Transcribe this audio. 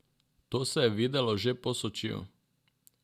To se je videlo že po Sočiju.